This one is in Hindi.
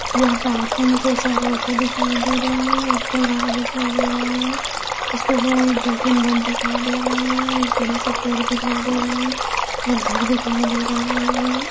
यह पार्किंग जैसा रोड दिखाई दे रहे है एक चौराहा दिखाई दे रहा है जिसपे गए दो तीन लोग दिखाई दे रहा है एक बड़ा सा पेड़ दिखाई दे रहा है एक घर दिखाई दे रहा है।